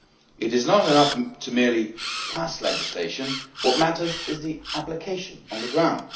It is not enough to merely pass legislation what matters is its application on the ground.